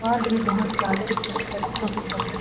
और भी बहोत सारे बच्चों के कपड़े--